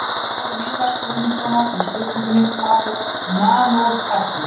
Í svari Viðars Guðmundssonar við spurningunni Hvað er nanótækni?